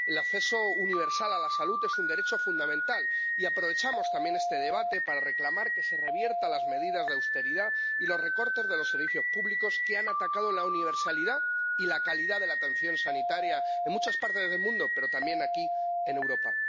El acceso universal a la salud es un derecho fundamental, y aprovechamos también este debate para reclamar que se reviertan las medidas de austeridad y los recortes de los servicios públicos que han atacado la universalidad y la calidad de la atención sanitaria en muchas partes del mundo, pero también aquí, en Europa.